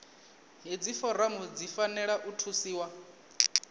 hedzi foramu dzi fanela u thusiwa